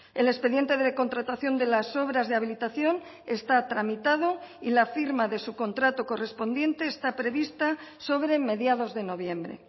el expediente de contratación de las obras de habilitación está tramitado y la firma de su contrato correspondiente está prevista sobre mediados de noviembre